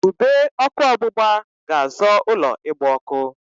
Ube ọkụ ọgbụgba ga-azọ ụlọ ịgba ọkụ.